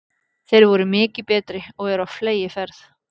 Þeir voru mikið betri og eru á fleygiferð.